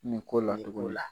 Nin ko la